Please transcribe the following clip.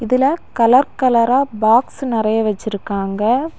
இதுல கலர் கலரா பாக்ஸ் நெறைய வச்சிருக்காங்க.